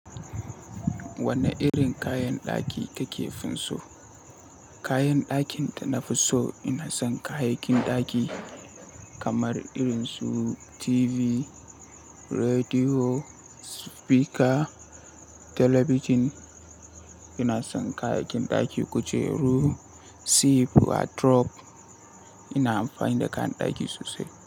Wane irin kayan ɗaki kake finso? Kayan ɗakin da na fi so ina son kayakin ɗaki kamar irin su TV, rediyo, spika, telebijin. Ina son kayakin ɗaki, kujeru, sif, wardrob. Ina amfani da kayan ɗaki sosai.